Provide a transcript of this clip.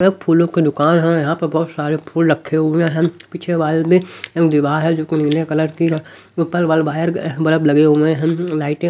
एक फूलों की दुकान है यहाँ पर बहुत सारे फूल रखे हुए हैं पीछे वाले भी दीवार है जो कि नीले कलर की है ऊपर बल वाले बाहर बलब लगे हुए हैं लाइटें--